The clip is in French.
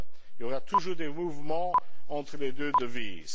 Il y aura toujours des mouvements entre les deux devises.